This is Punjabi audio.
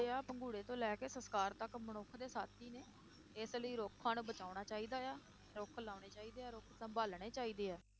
ਜਿਹੜੇ ਆ ਪੰਗੂੜੇ ਤੋਂ ਲੈ ਕੇ ਸੰਸਕਾਰ ਤੱਕ ਮਨੁੱਖ ਦੇ ਸਾਥੀ ਨੇ, ਇਸ ਲਈ ਰੁੱਖਾਂ ਨੂੰ ਬਚਾਉਣਾ ਚਾਹੀਦਾ ਆ, ਰੁੱਖ ਲਾਉਣੇ ਚਾਹੀਦੇ ਆ, ਰੁੱਖ ਸੰਭਾਲਣੇ ਚਾਹੀਦੇ ਆ,